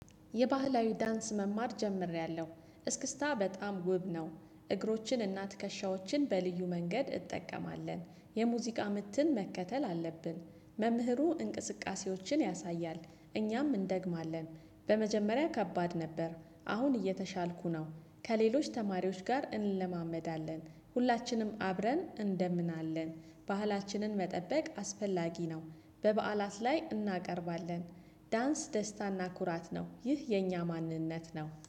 የባህላዊ ዳንስ መማር ጀምሬያለሁ እስክስታ በጣም ውብ ነው። እግሮችን እና ትከሻዎችን በልዩ መንገድ እንጠቀማለን የሙዚቃ ምትን መከተል አለብን መምህሩ እንቅስቃሴዎችን ያሳያል። እኛም እንደግማለን በመጀመሪያ ከባድ ነበር አሁን እየተሻልኩ ነው። ከሌሎች ተማሪዎች ጋር እንለማመዳለን ሁላችንም አብረን እንደምናለን ባህላችንን መጠበቅ አስፈላጊ ነው። በበዓላት ላይ እናቀርባለን። ዳንስ ደስታና ኩራት ነው ይህ የኛ ማንነት ነው